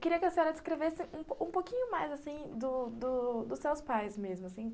Queria que a senhora descrevesse um um pouquinho mais, assim, do do dos seus pais mesmo, assim.